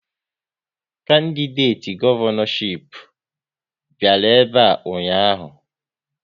Kandideti gọvanọchip bịara ebe a ụnyaahụ